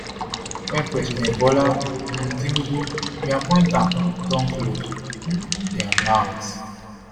wen president bola um tinubu bin appoint am don close um dia mouths